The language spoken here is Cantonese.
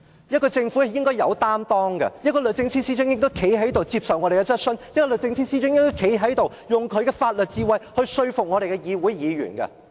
一個政府應該有擔當，一個律政司司長亦應該站在這裏接受我們的質詢，用她的法律智慧說服議員。